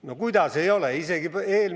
No kuidas ei ole?